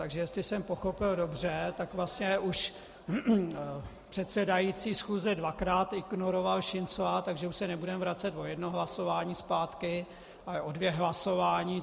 Takže jestli jsem pochopil dobře, tak vlastně už předsedající schůze dvakrát ignoroval Šincla, takže už se nebudeme vracet o jedno hlasování zpátky, ale o dvě hlasování.